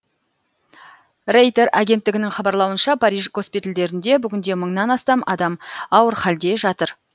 рейтер агенттігінің хабарлауынша париж госпитальдерінде бүгінде мыңнан астам адам ауыр халде жатыр